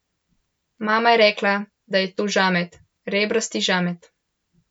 Mama je rekla, da je to žamet, rebrasti žamet.